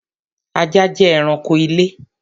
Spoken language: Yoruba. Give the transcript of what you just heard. Ajá jẹ́ ẹranko ilé